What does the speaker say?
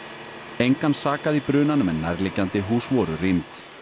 engan sakaði í brunanum en nærliggjandi hús voru rýmd